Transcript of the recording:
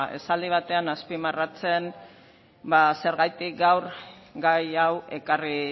esaldi bateaz azpimarratzen zergatik gaur gai hau ekarri